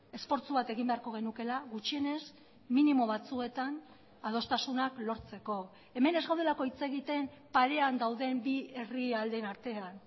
esfortzu bat egin beharko genukeela gutxienez minimo batzuetan adostasunak lortzeko hemen ez gaudelako hitz egiten parean gauden bi herrialdeen artean